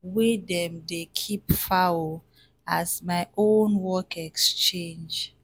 wey dem dey keep fowl as my own work exchange